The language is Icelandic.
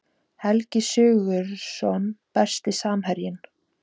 Helgi Sigurðsson Besti samherjinn?